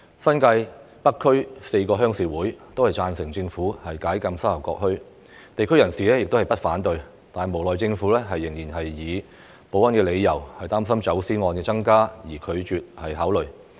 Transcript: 新界北區4個鄉事委員會均贊成政府解禁沙頭角墟，地區人士亦不反對，但無奈政府仍因為保安理由，擔心走私案件增加而拒絕考慮。